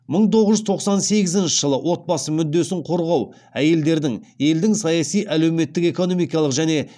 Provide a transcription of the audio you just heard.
мың тоғыз жүз тоқсан сегізінші жылы отбасы мүддесін қорғау әйелдердің елдің саяси әлеуметтік экономикалық және